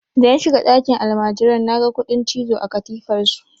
Da na shiga ɗakin almajiran naga kuɗin cizo a katifar su.